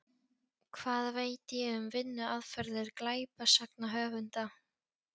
Hvað veit ég um vinnuaðferðir glæpasagnahöfunda?